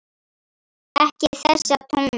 Ekki þessa tóna!